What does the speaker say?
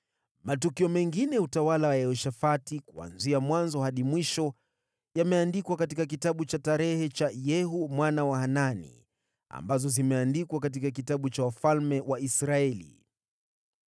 Matukio mengine ya utawala wa Yehoshafati, kuanzia mwanzo hadi mwisho, yameandikwa katika kitabu cha kumbukumbu cha Yehu mwana wa Hanani, ambazo zimeandikwa katika kitabu cha wafalme wa Israeli.